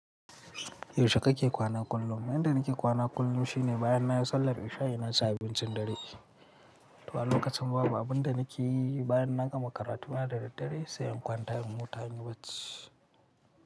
Yaushe kake kwana kullum? Yanda nake kwana kullum shine bayan na yi sallar isha'i, na ci abincin dare. To a lokacin babu, abun da nake yi bayan na gama karatu na da daddare, sai in kwanta in huta, hanyar bacci.